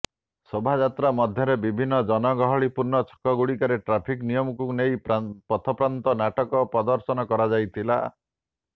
ଶୋଭାଯାତ୍ରା ମଧ୍ୟରେ ବିଭିନ୍ନ ଜନଗହିଳ ପୂର୍ଣ୍ଣ ଛକଗୁଡିକରେ ଟ୍ରାଫିକ ନିୟମକୁ ନେଇ ପଥପ୍ରାନ୍ତ ନାଟକ ପ୍ରଦର୍ଶନ କରାଯାଇଥିଲା